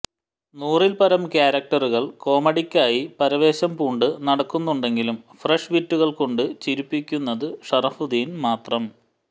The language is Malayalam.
നൂറിൽപരം ക്യാരക്ടറുകൾ കോമഡിക്കായി പരവേശം പൂണ്ട് നടക്കുന്നുണ്ടെങ്കിലും ഫ്രഷ് വിറ്റുകൾ കൊണ്ട് ചിരിപ്പിക്കുന്നത് ഷറഫുദ്ദീൻ മാത്രം